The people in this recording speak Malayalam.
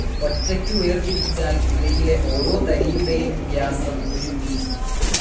ഒറ്റയ്ക്കു വേർതിരിച്ചാൽ ഇവയിലെ ഓരോ തരിയുടെയും വ്യാസം ഒരു മി.